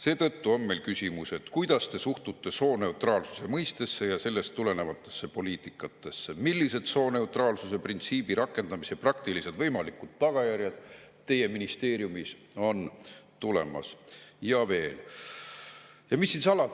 Seetõttu on meil küsimused, kuidas te suhtute sooneutraalsuse mõistesse ja sellest tulenevatesse poliitikatesse, millised sooneutraalsuse printsiibi rakendamise praktilised võimalikud tagajärjed teie ministeeriumis on tulemas, ja on veel.